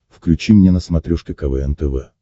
включи мне на смотрешке квн тв